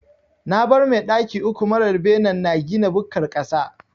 Na bar mai daki uku mara benen na gina bukkar ƙasa.